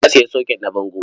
Bala ya sayi soket na bango.